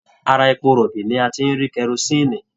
Ara èpò rọbí ní a tí n rí kerosinni.